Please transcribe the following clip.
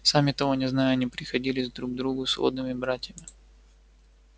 сами того не зная они приходились друг другу сводными братьями